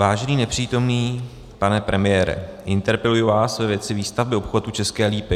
Vážený nepřítomný pane premiére, interpeluji vás ve věci výstavby obchvatu České Lípy.